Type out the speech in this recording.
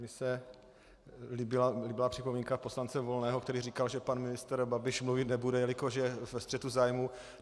Mně se líbila připomínka poslance Volného, který říkal, že pan ministr Babiš mluvit nebude, jelikož je ve střetu zájmů.